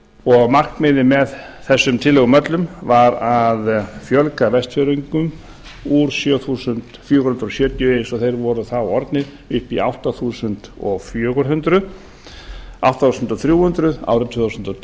og markmiðið með þessum tillögum öllum var að fjölga vestfirðingum úr sjö þúsund fjögur hundruð sjötíu eins og þeir voru þá orðnir upp í átta þúsund þrjú hundruð árið tvö þúsund